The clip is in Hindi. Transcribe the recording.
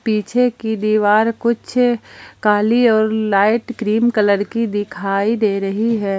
पीछे की दीवार कुछ काली और लाइट क्रीम कलर की दिखाई दे रही है।